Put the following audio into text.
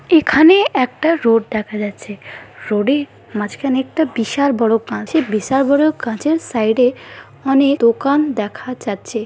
এখানে একটা রোড দেখা যাচ্ছে রোড -এ মাঝখানে একটা বিশাল বড়ো কাঁচের বিশাল বড়ো কাঁচের সাইড - এ অনেক দোকান দেখা যাচ্ছে।